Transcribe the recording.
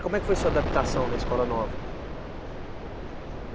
Como é que foi sua adaptação na escola nova?